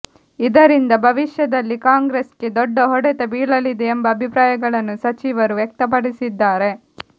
ಇದರಿಂದ ಭವಿಷ್ಯದಲ್ಲಿ ಕಾಂಗ್ರೆಸ್ಗೆ ದೊಡ್ಡ ಹೊಡೆತ ಬೀಳಲಿದೆ ಎಂಬ ಅಭಿಪ್ರಾಯಗಳನ್ನು ಸಚಿವರು ವ್ಯಕ್ತಪಡಿಸಿದ್ದಾರೆ